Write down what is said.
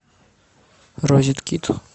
розеткид